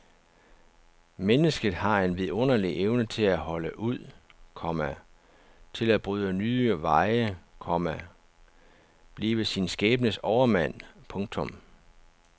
Mennesket har en vidunderlig evne til at holde ud, komma til at bryde nye veje, komma blive sin skæbnes overmand. punktum